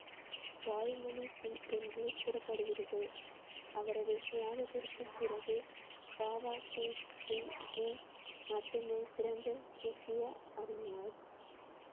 பாய் மணி சிங் என்று கூறப்படுகிறது. அவரது தியாகத்திற்கு பிறகு பாபா தீப் சிங் ஜி மட்டுமே சிறந்த சீக்கிய அறிஞர்